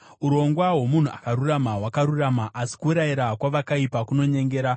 Urongwa hwomunhu akarurama hwakarurama, asi kurayira kwavakaipa kunonyengera.